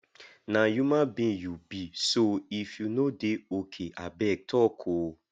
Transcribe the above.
na human being you be so if you no dey okay abeg talk o